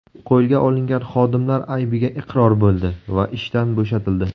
Qo‘lga olingan xodimlar aybiga iqror bo‘ldi va ishdan bo‘shatildi.